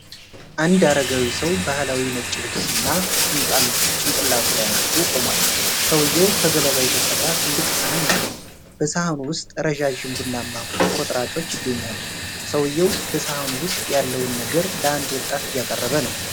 አንድ አረጋዊ ሰው ባህላዊ ነጭ ልብስ እና ጥምጣም ጭንቅላቱ ላይ አድርጎ ቆሟል። ሰውዬው ከገለባ የተሰራ ትልቅ ሰሀን ይዟል፤ በሰሀኑ ውስጥ ረዣዥም ቡናማ ቁርጥራጮች ይገኛሉ። ሰውየው በሰሃኑ ውስጥ ያለውን ነገር ለአንድ ወጣት እያቀረበ ነው።